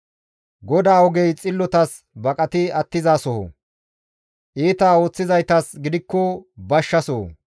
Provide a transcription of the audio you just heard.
GODAA ogey xillotas baqati attizasoho; iita ooththizaytas gidikko bashsha soho.